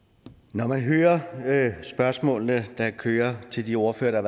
når man hører spørgsmålene der kører til de ordførere der